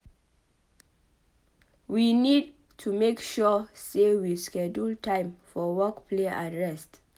We need to make sure sey we schedule time for work play and rest